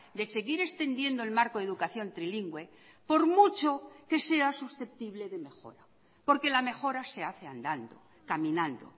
de seguir extendiendo el marco de educación trilingüe por mucho que sea susceptible de mejora porque la mejora se hace andando caminando